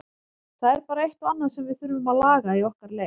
Það er bara eitt og annað sem við þurfum að laga í okkar leik.